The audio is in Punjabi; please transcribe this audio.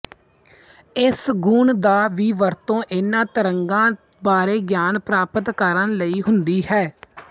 ਇਸ ਗੁਣ ਦਾ ਵੀ ਵਰਤੋ ਇਨ੍ਹਾਂ ਤਰੰਗਾਂ ਬਾਰੇ ਗਿਆਨ ਪ੍ਰਾਪਤ ਕਰਣ ਲਈ ਹੁੰਦੀ ਹੈ